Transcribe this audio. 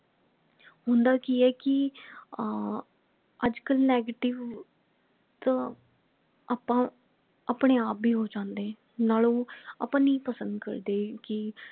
ਹੁੰਦਾ ਕਿ ਹੈ ਕਿ ਅਹ ਅਜੇ ਕਲ negative ਤਾਂ ਆਪਾ ਆਪਣੇ ਆਪ ਭੀ ਹੋ ਜਾਂਦੇ ਨਾਲੋਂ ਉਹ ਆਪਾ ਨਹੀਂ ਪਸੰਦ ਕਰਦੇ ਕਿ